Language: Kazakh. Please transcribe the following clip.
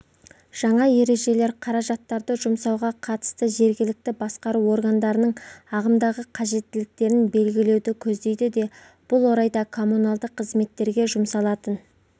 жаңа ережелер қаражаттарды жұмсауға қатысты жергілікті басқару органдарының ағымдағы қажеттіліктерін белгілеуді көздейді де бұл орайда коммуналдық қызметтерге жұмсалатын